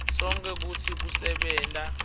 sonkhe kutsi kusebenta